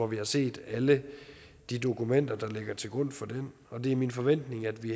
vi har set alle de dokumenter der ligger til grund for den og det er min forventning at vi